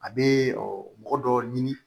A bɛ mɔgɔ dɔ ɲini